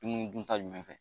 Dumunu dun ta jumɛn fɛ.